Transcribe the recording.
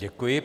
Děkuji.